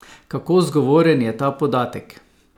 Kako zgovoren je ta podatek?